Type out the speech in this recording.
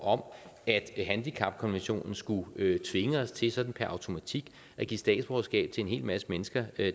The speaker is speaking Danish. om at handicapkonventionen skulle tvinge os til sådan per automatik at give statsborgerskab til en hel masse mennesker